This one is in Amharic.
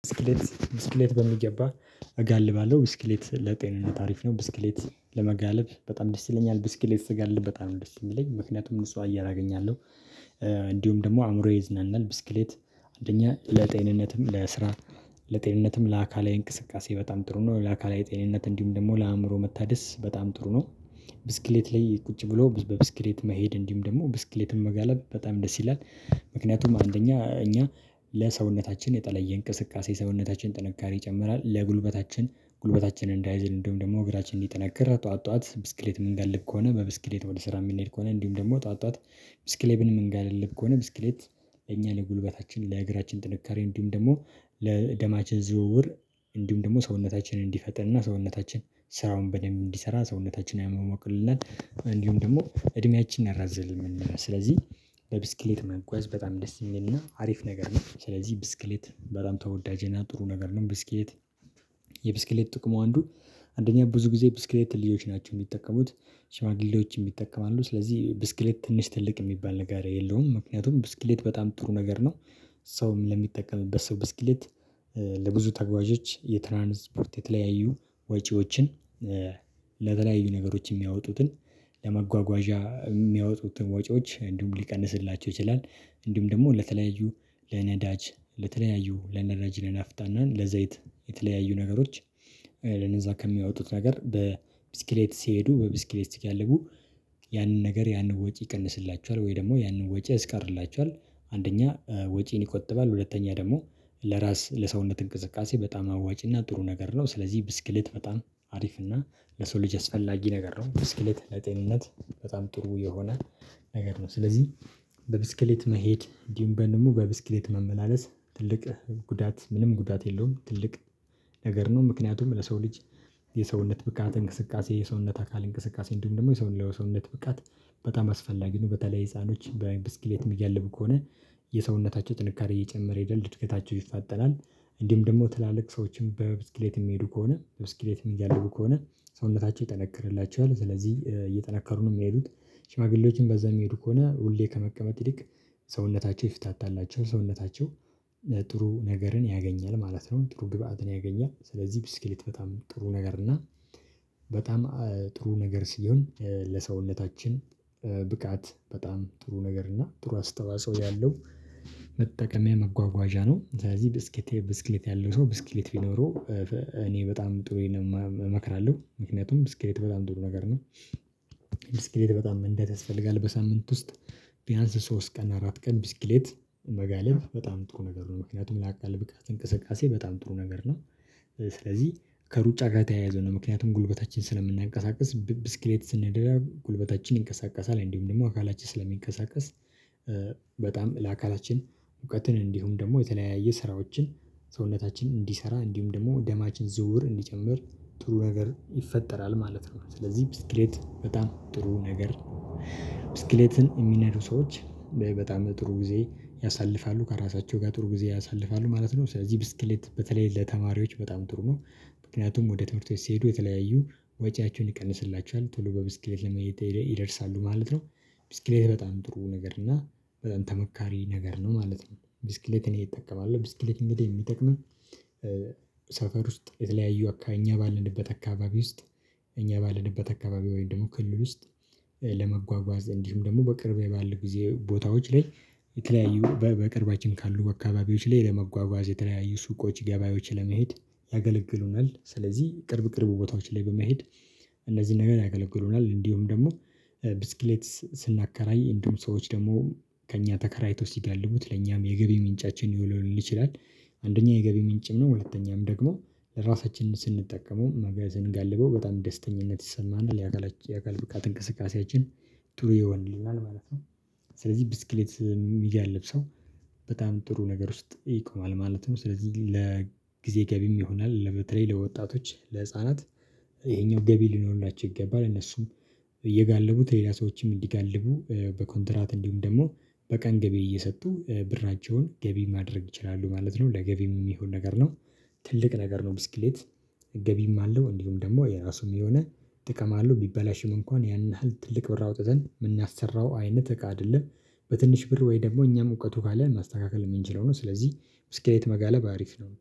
ብስክሌት በሚገባ እጋልባለሁ ብስክሌት ለጤንነት አሪፍ ነው። ብስክሌት ለመጋለብ በጣም ደስ ይለኛል። ብስክሌት ስጋልብ በጣም ደስ የሚለኝ ምክንያቱም ንጹህ አየር አገኛለሁ እንዲሁም ደግሞ አእምሮዬ ይዝናናል። ብስክሌት አንደኛ ለጤንነትም ለስራ ለጤንነትም ለአካላዊ እንቅስቃሴ በጣም ጥሩ ነው። ለአካላዊ ጤንነት እንዲሁም ደግሞ ለአእምሮ መታደስ በጣም ጥሩ ነው። ብስክሌት ላይ ቁጭ ብሎ በብስክሌት መሄድ እንዲሁም ደግሞ ብስክሌትም መጋለብ በጣም ደስ ይላል። ምክንያቱም አንደኛ እኛ ለሰውነታችን የተለየ እንቅስቃሴ ሰውነታችን ጥንካሬ ይጨምራል። ለጉልበታችን ጉልበታችን እንዳይዝል እንድሁም ደግሞ እግራችን እንዲጠነክር ጠዋት ጠዋት ብስክሌት ምንጋልብ ከሆነ በብስክሌት ወደ ስራ የምንሄድ ከሆነ እንዲሁም ደግሞ ጠዋት ጠዋት። ብስክሌትን ምንጋልብ ከሆነ ብስክሌት ለእኛ ለጉልበታችን ለእግራችን ጥንካሬ እንዲሁም ደግሞ ለደማችን ዝውውር እንዲሁም ደግሞ ሰውነታችንን እንዲፈጠንና ሰውነታችን ስራውን በደንብ እንዲሰራ ሰውነታችንን ያሟሙቅልናል። እንዲሁም ደግሞ እድሜያችንን ያራዝምልናል። ስለዚህ በብስክሌት መጓዝ በጣም ደስ የሚልና አሪፍ ነገር ነው። ስለዚህ ብስክሌት በጣም ተወዳጅ ነው ጥሩ ነገር ነው። ብስክሌት የብስክሌት ጥቅሙ አንዱ አንደኛ ብዙ ጊዜ ብስክሌት ልጆች ናቸው የሚጠቀሙት። ሽማግሌዎች ይጠቀማሉ ስለዚህ ብስክሌት ትንሽ ትልቅ የሚባል ነገር የለውም። ምክንያቱም ብስክሌት በጣም ጥሩ ነገር ነው። ሰውም ለሚጠቀምበት ሰው ብስክሌት ለብዙ ተጓዦች የትራንስፖርት የተለያዩ ወጪዎችን ለተለያዩ ነገሮች የሚያወጡትን ለመጓጓዣ የሚያወጡትን ወጪዎች እንዲሁም ሊቀንስላቸው ይችላል። እንዲሁም ደግሞ ለተለያዩ ለነዳጅ ለተለያዩ ለነረጅ ለናፍታና ለዘይት የተለያዩ ነገሮች ለነዛ ከሚያወጡት ነገር በብስክሌት ሲሄዱ በብስክሌት ሲጋልቡ ነገር ያንን ወጪ ይቀንስላችኋል ወይ ደግሞ ያንን ወጪ ያስቀርላቸዋል። አንደኛ ወጪን ይቆጥባል ሁለተኛ ደግሞ ለራስ ለሰውነት እንቅስቃሴ በጣም አዋጭና ጥሩ ነገር ነው። ስለዚህ ብስክልት በጣም አሪፍ እና ለሰው ልጅ አስፈላጊ ነገር ነው። ብስክሌት ለጤንነት በጣም ጥሩ የሆነ ነገር ነው። ስለዚህ በብስክሌት መሄድ እንዲሁም በንሙ በብስክሌት መመላለስ ትልቅ ጉዳት ምንም ጉዳት የለውም ትልቅ ነገር ነው። ምክንያቱም ለሰው ልጅ የሰውነት ብቃት እንቅስቃሴ የሰውነት አካል እንቅስቃሴ እንዲሁም ደግሞ የሰው ለሰውነት ብቃት በጣም አስፈላጊ ነው በተለይ ህፃኖች በብስክሌት የሚጋልቡ ከሆነ የሰውነታቸው ጥንካሬ እየጨመረ ይደል ዕድገታቸው ይፋጠናል። እንዲሁም ደግሞ ትላልቅ ሰዎችን በብስክሌት የሚሄዱ ከሆነ ብስክሌት የሚጋልቡ ከሆነ ሰውነታቸው ይጠነክርላቸዋል። ስለዚህ እየጠነከሩ ነው የሚሄዱት ሽማግሌዎችም በዛ የሚሄዱ ከሆነ ሁሌ ከመቀመጥ ይልቅ ሰውነታቸው ይፍታታላቸው ሰውነታቸው ለጥሩ ነገርን ያገኛል ማለት ነው። ጥሩ ግብአትን ያገኛል። ስለዚህ ብስክልት በጣም ጥሩ ነገር እና በጣም ጥሩ ነገር ሲሆን ለሰውነታችን ብቃት በጣም ጥሩ ነገር እና ጥሩ አስተዋጽኦ ያለው መጠቀሚያ መጓጓዣ ነው። ስለዚህ ብስክሌት ብስክሌት ያለው ሰው ብስክሌት ቢኖረው እኔ በጣም ጥሩዬን እመክራለሁ ምክንያቱም ብስክሌት በጣም ጥሩ ነገር ነው። ብስክሌት በጣም ያስፈልጋል በሳምንት ውስጥ ቢያንስ ሶስት ቀን አራት ቀን ብስክሌት መጋለብ በጣም ጥሩ ነገር ነው። ምክንያቱም ለአካል ብቃት እንቅስቃሴ በጣም ጥሩ ነገር ነው። ስለዚህ ከሩጫ ጋር የተያያዘ ነው ምክንያቱም ጉልበታችን ስለምናንቀሳቅስ ብስክሌት ስንደራብ ጉልበታችን ይንቀሳቀሳል እንዲሁም ደግሞ አካላችን ስለሚንቀሳቀስ በጣም ለአካላችን እውቀትን እንዲሁም ደግሞ የተለያየ ስራዎችን ሰውነታችን እንዲሰራ እንዲሁም ደግሞ ደማችን ዝውውር እንዲጨምር ጥሩ ነገር ይፈጠራል ማለት ነው። ስለዚህ ብስክሌት በጣም ጥሩ ነገር ብስክሌትን የሚነዱ ሰዎች በጣም ጥሩ ጊዜ ያሳልፋሉ ከራሳቸው ጋር ጥሩ ጊዜ ያሳልፋሉ ማለት ነው። ስለዚህ ብስክሌት በተለይ ለተማሪዎች በጣም ጥሩ ነው ምክንያቱም ወደ ትምህርት ቤት ሲሄዱ የተለያዩ ወጪያቸውን ይቀንስላቸዋል ቶሎ በብስክሌት ለመሄድ ይደርሳሉ ማለት ነው። ብስክሌት በጣም ጥሩ ነገር እና በጣም ተመካሪ ነገር ነው ማለት ነው። ብስክሌት እኔ እጠቀማለሁ ብስክሌት እንግዲህ የሚጠቅምህ ሰፈር ውስጥ የተለያዩ ከኛ ባልንበት አካባቢ ውስጥ። እኛ ባለንበት አካባቢ ወይም ደግሞ ክልል ውስጥ። ለመጓጓዝ እንዲሁም ደግሞ በቅርብ የባሉ ጊዜ ቦታዎች ላይ የተለያዩ በቅርባችን ካሉ አካባቢዎች ላይ ለመጓጓዝ የተለያዩ ሱቆች ገበያዎች ለመሄድ ያገለግሉናል። ስለዚህ ቅርብ ቅርብ ቦታዎች ላይ በመሄድ እነዚህን ነገር ያገለግሉናል። እንዲሁም ደግሞ ብስክሌት ስናከራይ እንዲሁም ሰዎች ደግሞ ከእኛ ተከራይተው ሲጋልቡት ለእኛም የገቢ ምንጫችን ሊዉልልን ይችላል። አንደኛ የገቢ ምንጭም ነው። ሁለተኛም ደግሞ ለራሳችን ስንጠቀመው መጋዘን ስንጋልበው በጣም ደስተኛነት ይሰማናል የአካል የአካል ብቃት እንቅስቃሴያችን ጥሩ ይሆንልናል ማለት ነው። ስለዚህ ብስክሌት የሚጋልብ ሰው በጣም ጥሩ ነገር ውስጥ ይቆማል ማለት ነው። ስለዚህ ለጊዜ ገቢም ይሆናል በተለይ ለወጣቶች ለህፃናት ይሄኛው ገቢ ሊኖርላቸው ይገባል እነሱም እየጋለቡት ሌላ ሰዎችም እንዲጋልቡ በኮንትራት እንዲሁም ደግሞ በቀን ገቢ እየሰጡ ብራቸዉን ገቢ ማድረግ ይችላሉ ማለት ነው። ለገቢም የሚሆን ነገር ነው። ትልቅ ነገር ነው። ብስክሌት ገቢም አለው። እንዲሁም ደግሞ የራሱም የሆነ ጥቅም አለው ቢበላሽም እንኳን ያን ያህል ትልቅ ብር አውጥተን የምናሰራው አይነት እቃ አይደለም። በትንሽ ብር ወይ ደግሞ እኛም እውቀቱ ካለን ማስተካከል የምንችለው ነው። ስለዚህ ብስክሌት መጋለብ አሪፍ ነው።